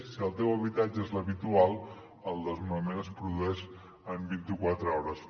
si el teu habitatge és l’habitual el desnonament es produeix en vint i quatre hores